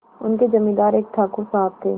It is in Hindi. उनके जमींदार एक ठाकुर साहब थे